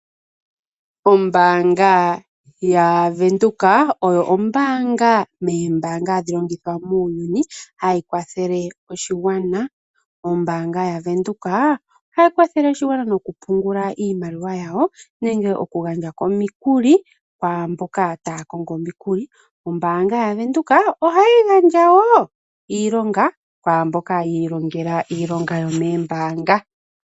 Ombaanga yaVenduka oyo yimwe yomoombaanga ndhono hadhi longithwa muuyuni hayi kwathele oshigwana. Ombaanga yaVenduka ohayi kwathele oshigwana okupungula iimaliwa ya sho nenge okugandja omikuli kwaa mboka taya kongo omikuli. Ombaanga yaVenduka ohayi gandja wo iilonga kwaa mboka yi ilongela iilonga yomoombaanga.